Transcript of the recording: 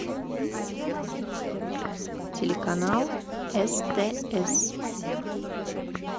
телеканал стс